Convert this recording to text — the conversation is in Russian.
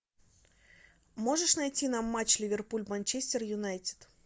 можешь найти нам матч ливерпуль манчестер юнайтед